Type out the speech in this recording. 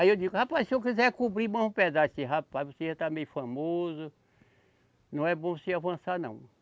Aí eu digo, rapaz, se eu quiser cobrir mais um pedaço, ele disse rapaz, você já está meio famoso, não é bom você avançar, não.